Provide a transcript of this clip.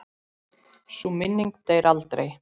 Sú minning deyr aldrei.